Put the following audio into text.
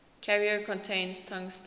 carrier contains tungsten